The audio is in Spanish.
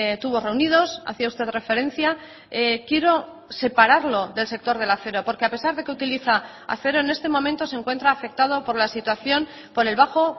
tubos reunidos hacía usted referencia quiero separarlo del sector del acero porque a pesar de que utiliza acero en este momento se encuentra afectado por la situación por el bajo